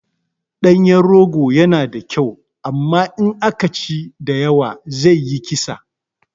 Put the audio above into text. Ɗanyen rogo yana da kyau amma in aka ci da yawa zai yi kisa